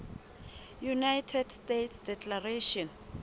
united states declaration